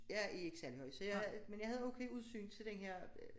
Jeg er ikke særlig høj så jeg men jeg havde okay udsyn til den her øh